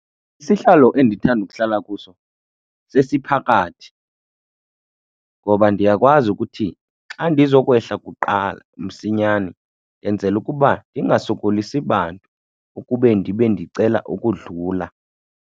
Isihlalo endithanda ukuhlala kuso sesiphakathi ngoba ndiyakwazi ukuthi xa ndizokwehla kuqala msinyane ndenzela ukuba ndingasokolisi bantu ukube ndibe ndicela ukudlula.